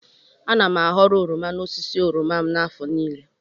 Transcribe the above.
Ana m a ghọrọ oroma n'osisi oroma m n'afọ niile.